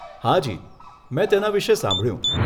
હાજી, મેં તેના વિષે સાંભળ્યું.